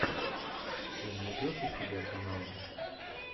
ты найдешь у себя каналы